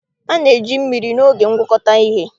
A na- eji mmiri n'oge ngwọkọta uhie